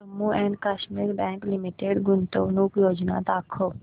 Jammu and Kashmir bank limited गुंतवणूक योजना दाखव